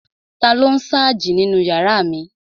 Taló n sáàjì nínu yàrá mi?